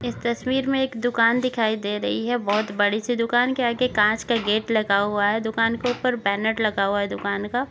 इस तस्वीर में एक दुकान दिखाई दे रही है बहुत बड़ी सी दुकान के आगे कांच का गेट लगा हुआ है दुकान के ऊपर बैनर लगा हुआ है दुकान का --